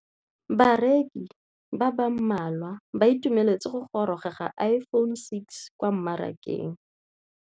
Bareki ba ba malwa ba ituemeletse go gôrôga ga Iphone6 kwa mmarakeng.